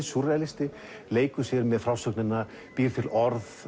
súrrealisti leikur sér með frásögnina býr til orð